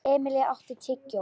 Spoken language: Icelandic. Emilý, áttu tyggjó?